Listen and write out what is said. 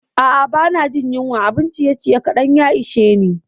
A'a, ba na jin yunwa, abun ciyeciye kaɗan ya ishe ni.